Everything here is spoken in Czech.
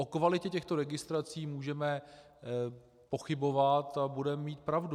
O kvalitě těchto registrací můžeme pochybovat a budeme mít pravdu.